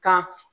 Ka